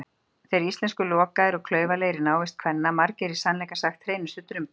Þeir íslensku lokaðir og klaufalegir í návist kvenna, margir í sannleika sagt hreinustu drumbar.